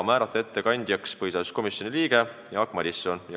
Ettekandjaks otsustati määrata põhiseaduskomisjoni liige Jaak Madison.